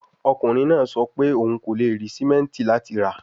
Ọkunrin naa sọ pe oun ko le ri simenti lati ra